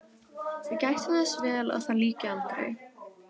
Við gættum þess vel að því lyki aldrei.